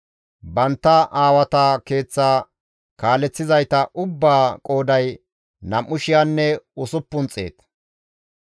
Bantta aawata keeththa kaaleththizayta ubbaa qooday nam7u shiyanne usuppun xeeta.